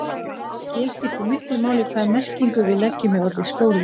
Hér skiptir miklu máli hvaða merkingu við leggjum í orðið skóli.